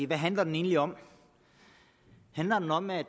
hvad handler den egentlig om handler den om at